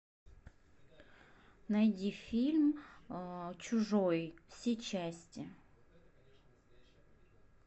найди фильм чужой все части